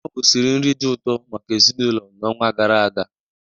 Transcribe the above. Nne ahụ siri nri dị ụtọ maka ezinụlọ n'ọnwa gara aga.